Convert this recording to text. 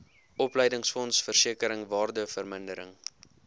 opleidingsfonds versekering waardevermindering